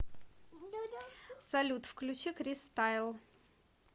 салют включи крис тайл